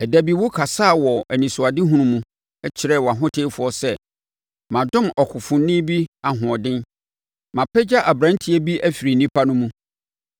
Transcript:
Ɛda bi wokasaa wɔ anisoadehunu mu, kyerɛɛ wʼahotefoɔ sɛ, “Madom ɔkofoni bi ahoɔden; mapagya aberanteɛ bi afiri nnipa no mu.